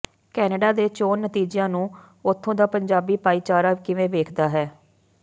Canada ਦੇ ਚੋਣ ਨਤੀਜਿਆਂ ਨੂੰ ਉੱਥੋਂ ਦਾ ਪੰਜਾਬੀ ਭਾਈਚਾਰਾ ਕਿਵੇਂ ਵੇਖਦਾ ਹੈ